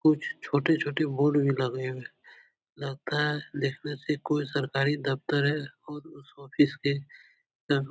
कुछ छोटे-छोटे बोर्ड भी लगे हैं। लगता है देखने से कोई सरकारी दफ्तर है और उस ऑफिस के --